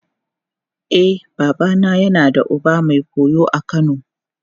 E, babana yana da uba mai goyo a Kano.